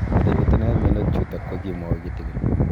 Ole pitune mionwek chutok ko kimwau kitig'�n